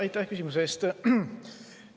Aitäh küsimuse eest!